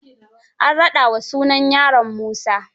An raɗa wa sunan yaron Musa.